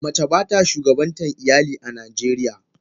Mace bata shugabantan iyali a najeriya.